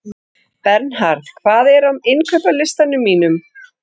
Bernharð, hvað er á innkaupalistanum mínum?